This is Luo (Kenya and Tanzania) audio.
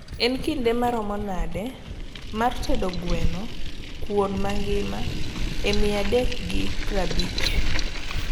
en kinde marom nade mar tedo gweno kuon magima e mia dek gi praabich